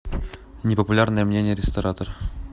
непопулярное мнение ресторатор